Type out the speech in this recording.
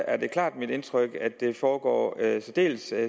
er det klart mit indtryk at det foregår særdeles